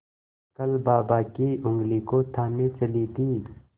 कल बाबा की ऊँगली को थामे चली थी